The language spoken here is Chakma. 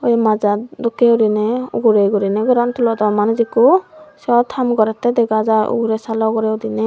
e majat dokkey uriney ugure guriney goran tulodon manuj ikko siyod ham gorettey dega jar ugure salo ugurey udiney.